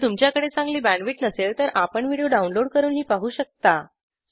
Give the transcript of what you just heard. जर आपल्याकडे चांगला बँडविड्थ नसेल तर आपण व्हिडिओ डाऊनलोड करूनही पाहू शकता